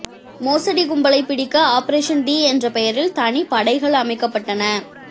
மோசடி கும்பலை பிடிக்க ஆப்ரேஷன் டி என்ற பெயரில் தனி படைகள் அமைக்கப்பட்டன